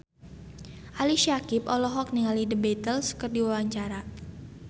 Ali Syakieb olohok ningali The Beatles keur diwawancara